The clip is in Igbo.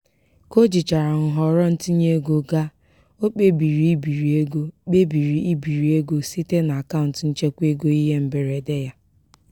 ka o jichara nhọrọ ntinyeego ga o kpebiri ibiri ego kpebiri ibiri ego site n'akaụntụ nchekwaego ihe mberede ya.